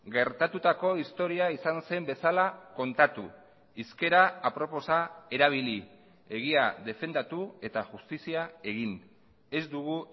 gertatutako historia izan zen bezala kontatu hizkera aproposa erabili egia defendatu eta justizia egin ez dugu